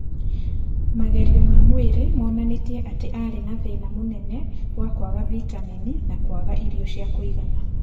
Magerio ma mwĩrĩ monanirie atĩ aarĩ na thĩna mũnene wa kwaga vitamini na kwaga irio cia kũigana.